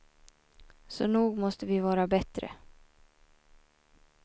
Så nog måste vi vara bättre.